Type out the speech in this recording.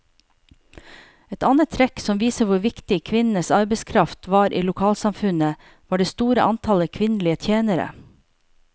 Et annet trekk som viser hvor viktig kvinnenes arbeidskraft var i lokalsamfunnet, var det store antallet kvinnelige tjenere.